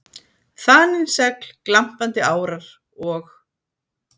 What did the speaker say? Þanin segl, glampandi árar, og